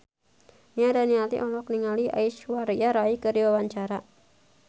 Nia Daniati olohok ningali Aishwarya Rai keur diwawancara